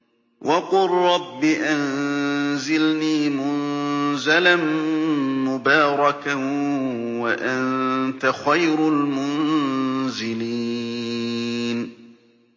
وَقُل رَّبِّ أَنزِلْنِي مُنزَلًا مُّبَارَكًا وَأَنتَ خَيْرُ الْمُنزِلِينَ